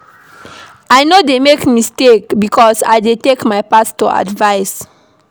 I no dey make mistake because I dey take my pastor advice.